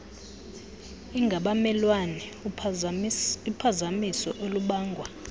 engabamelwane uphazamiso olubangwa